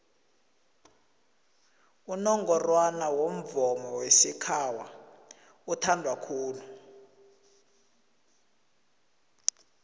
unongorwana womvomo wesikhawa uthandwa khulu